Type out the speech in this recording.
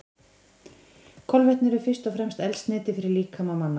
Kolvetni eru fyrst og fremst eldsneyti fyrir líkama manna.